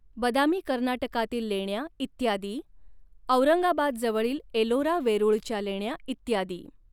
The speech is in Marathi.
बदामी कर्नाटकातील लेण्या इ॰ औरंगाबादजवळील ऐलोरा वेरूळच्या लेण्या इ.